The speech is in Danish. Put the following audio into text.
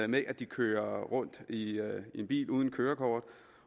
med at de kører rundt i en bil uden kørekort